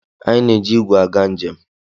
Anyị na-eji igwe aga njem.